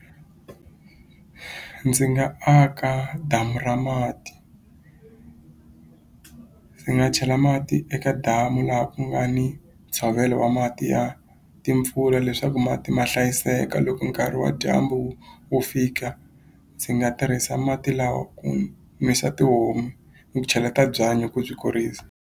Ndzi nga aka damu ra mati ndzi nga chela mati eka damu laha ku nga ni ntshovelo wa mati ya timpfula leswaku mati ma hlayiseka loko nkarhi wa dyambu wu fika ndzi nga tirhisa mati lawa ku nwisa tihomu ni ku cheleta byanyi ku byi kurisa.